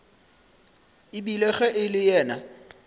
ebile ge e le yena